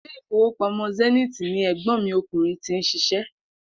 Ilé ìfowópamó̩ Zenith ni è̩gbó̩n mi o̩kùnrin ti ń s̩is̩é̩